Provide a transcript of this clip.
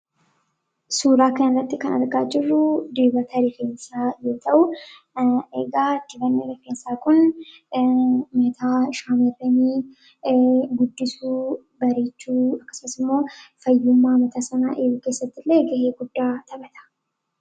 Suuraa kana irratti kan argaa jirru, dibata rifeensaa yoo ta'u, egaa dibanni rifeensaa kun mataa shamarranii guddisuu, bareechuu akkasumas ammoo fayyummaa mataa isaanii eeguu keessatti illee ga'ee guddaa taphata.